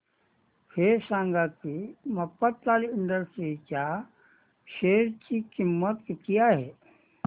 हे सांगा की मफतलाल इंडस्ट्रीज च्या शेअर ची किंमत किती आहे